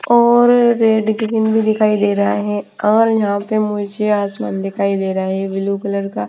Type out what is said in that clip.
और red cream भी दिखाई दे रहा है और यहाँ पे मुझे आसमान दिखाई दे रहा है ये ब्लू कलर का --